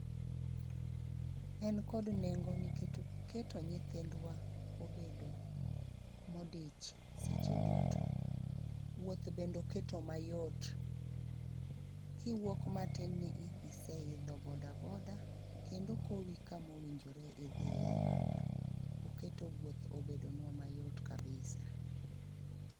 En kod nengo niket oketo nyithindwa obedo modich seche duto. Wuoth bendoketo mayot, kiwuok matin ni i, iseidho bodaboda kendo kowi kamowinjore idhiye. Oketo wuoth obedonwa mayot kabisa.